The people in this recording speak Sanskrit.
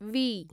वी